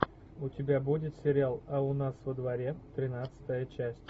у тебя будет сериал а у нас во дворе тринадцатая часть